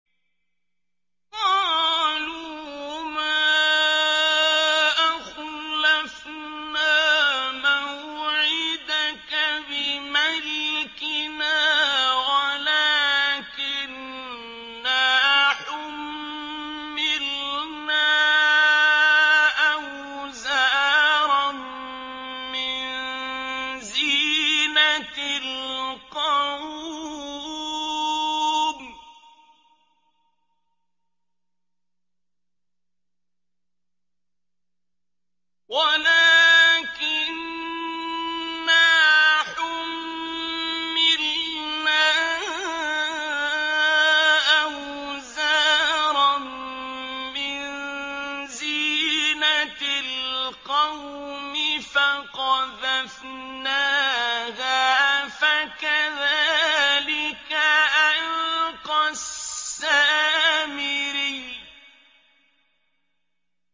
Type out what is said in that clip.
قَالُوا مَا أَخْلَفْنَا مَوْعِدَكَ بِمَلْكِنَا وَلَٰكِنَّا حُمِّلْنَا أَوْزَارًا مِّن زِينَةِ الْقَوْمِ فَقَذَفْنَاهَا فَكَذَٰلِكَ أَلْقَى السَّامِرِيُّ